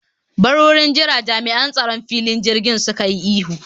Bar wurin jira!, Jami'an tsaron filin jirgin suka yi ihu